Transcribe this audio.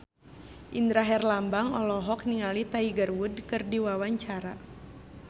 Indra Herlambang olohok ningali Tiger Wood keur diwawancara